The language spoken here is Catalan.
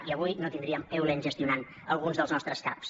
i avui no tindríem eulen gestionant alguns dels nostres caps